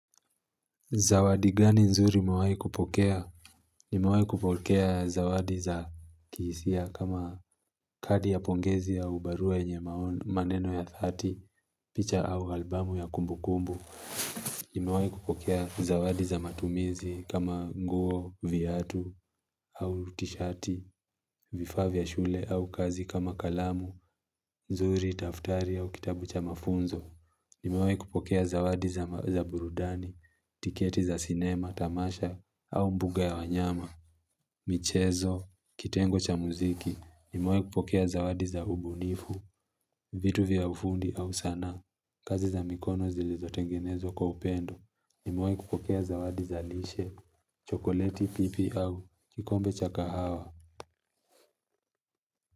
Zawadi gani nzuri umewahi kupokea? Nimewahi kupokea zawadi za kihisia kama kadi ya pongezi au barua yenye maneno ya dhati, picha au albamu ya kumbukumbu. Nimewahi kupokea zawadi za matumizi kama nguo, viatu au tishati, vifaa vya shule au kazi kama kalamu nzuri, daftari au kitabu cha mafunzo. Nimewahi kupokea zawadi za burudani, tiketi za sinema, tamasha, au mbuga ya wanyama, michezo, kitengo cha muziki. Nimewahi kupokea zawadi za ubunifu, vitu vya ufundi au sanaa, kazi za mikono zilizotengenezwa kwa upendo. Nimewahi kupokea zawadi za lishe, chokoleti pipi au kikombe cha kahawa.